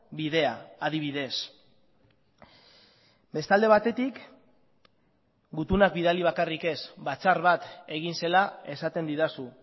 bidea adibidez beste alde batetik gutunak bidali bakarrik ez batzar bat egin zela esaten didazu